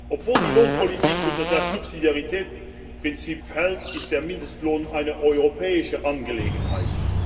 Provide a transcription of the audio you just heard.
Obwohl die Lohnpolitik unter das Subsidiaritätsprinzip fällt, ist der Mindestlohn eine europäische Angelegenheit.